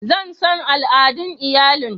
Zan san al'adun iyalin.